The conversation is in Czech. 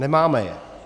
Nemáme je.